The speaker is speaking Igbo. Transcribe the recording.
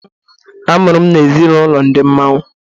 A mụrụ m na ezi n' ụlọ Ndi Mmanwu